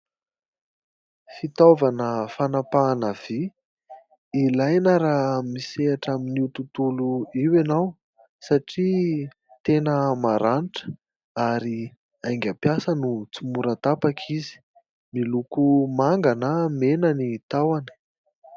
Fitaovana fanapahana vy ilaina raha misehatra amin'io tontolo io ianao, satria tena maranitra ary aingam-piasa no tsy mora tapaka izy. Miloko manga na mena ny tahony.